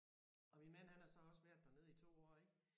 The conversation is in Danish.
Og min mand han har så også været dernede i 2 år ik